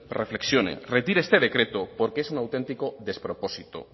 reflexione retire este decreto porque es un auténtico despropósito